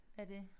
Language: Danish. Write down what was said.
Hvad det